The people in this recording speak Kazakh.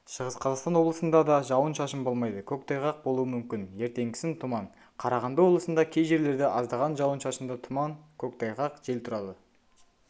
шығыс қазақстан облысында да жауын-шашын болмайды көктайғақ болуы мүмкін ертеңгісін тұман қарағанды облысында кей жерлерде аздаған жауын-шашынды тұман көктайғақ жел тұрады